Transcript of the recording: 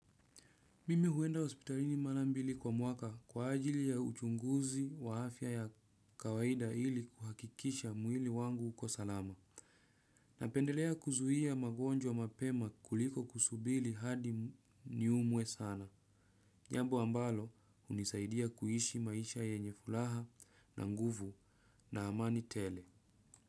Mimi huenda hospitalini mara mbili kwa mwaka kwa ajili ya uchunguzi waafya ya kawaida ili kuhakikisha mwili wangu uko salama. Napendelea kuzuia magonjwa mapema kuliko kusubiri hadi niumwe sana. Jambo ambalo hunisaidia kuishi maisha yenye furaha na nguvu na amani tele.